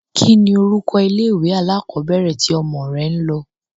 Kínni orúkọ ilé-ìwé alákọọ́bẹ̀rẹ̀ tí ọmọ rẹ ń lọ?